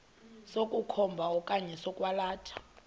sokukhomba okanye sokwalatha